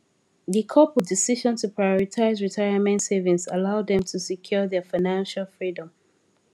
di couple decision to prioritize retirement savings allow dem to secure their financial freedom